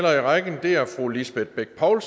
hånd